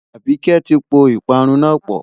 Àbíkẹ́ ti po ìparun náà pọ̀.